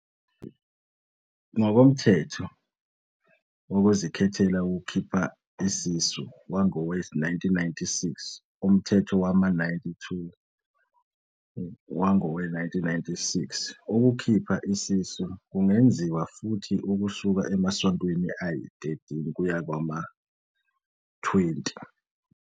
NgokoMthetho Wokuzikhethela Ukukhipha Isisu wangowe-1996, Umthetho wama-92 wangowe-1996, ukukhipha isisu kungenziwa futhi ukusuka emasontweni ayi-13 kuya kwangama-20.